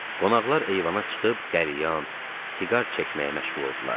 Qonaqlar eyvana çıxıb qəlyan, siqar çəkməyə məşğul oldular.